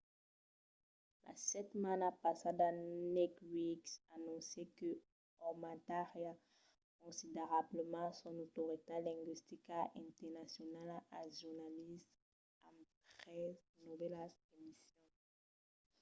la setmana passada naked news anoncièt que aumentariá considerablament son autoritat lingüistica internacionala al jornalisme amb tres novèlas emissions